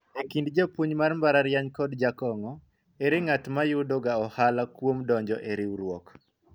ekind japuonj mar mbalariany kod jakong'o , ere ng'at ma yudo ga ohala kuom donjo e riwruok